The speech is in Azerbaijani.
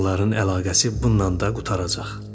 Onların əlaqəsi bununla da qurtaracaq.